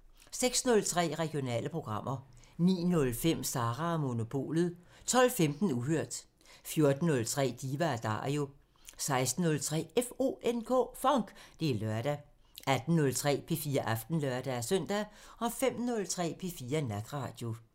06:03: Regionale programmer 09:05: Sara & Monopolet 12:15: Uhørt 14:03: Diva & Dario 16:03: FONK! Det er lørdag 18:03: P4 Aften (lør-søn) 05:03: P4 Natradio